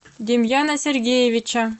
демьяна сергеевича